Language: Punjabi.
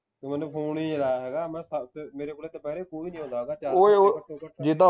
ਤੂੰ ਮੈਨੂੰ phone ਹੀ ਨਹੀਂ ਲਾਇਆ ਹੈਗਾ ਮੈਂ ਸੱਤ ਮੇਰੇ ਕੋਲੇ ਦਪੁਹਿਰੇ ਕੋਈ ਨਹੀਂ ਆਉਂਦਾ ਹੈਗਾ